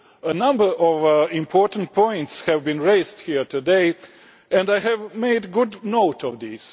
A number of important points have been raised here today, and I have taken good note of them.